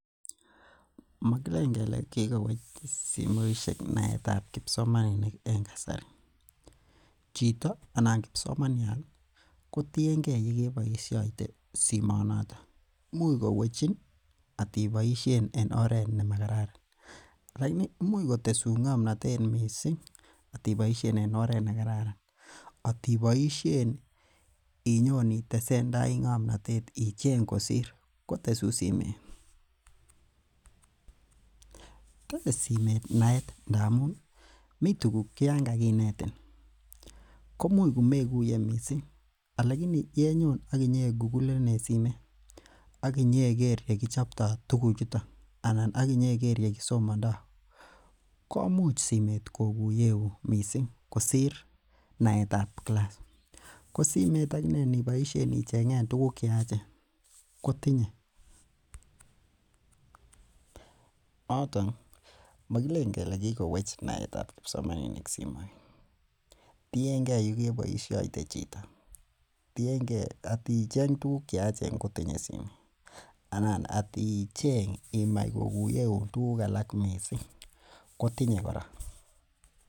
Mogileen kele kikowech simoisiek naetab kibsomaninik en kasari. Chito anan kibsomaniat kotienge yekeboisiatie simoonoto imuch kowechin otiboisien en oret nemo kararan alaini imuch kotesun ng'amnotet atiboisien en oret nekararan. Atiboisien inyon itesendai ng'amnotet ichen kosir kotesun simeet. Tese simeet naet mi tuguk che Yoon kaginetin komuch komeguye missing alaini ye nyoon aginyeng'et igugulen en simeet aginyeger yekichobtoo tugu choton anan aginyeger yekisomontaa komuch simeet koguyeun missing kosir naetab kilas. Ko simeet aginee inicheng'en tiguk cheyachen kotinye noton mogileen kele kikowech naetab kibsomaninik simoit tiengee yekeboisiatie chito, tiengee aticheng tuguk cheyachen kotinye simoit anan aticheng imach koguyeun tuguk alak missing kotinye kora.